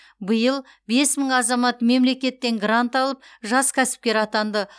биыл бес мың азамат мемлекеттен грант алып жас кәсіпкер атанды